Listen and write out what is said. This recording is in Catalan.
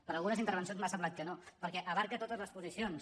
per algunes intervencions m’ha semblat que no perquè abraça totes les posicions